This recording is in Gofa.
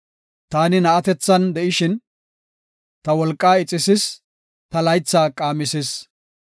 Taani na7atethan de7ishin, ta wolqaa ixisis; ta laytha qaamisis.